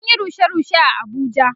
An Yi rushe rushe a Abuja